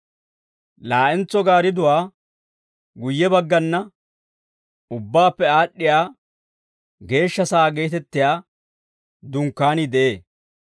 Laa'entso gaaridduwaa guyye baggana Ubbaappe Aad'd'iyaa Geeshsha Sa'aa geetettiyaa Dunkkaanii de'ee.